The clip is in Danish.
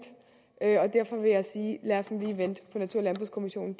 derfor vil jeg sige lad os nu lige vente på hvad natur og landbrugskommissionen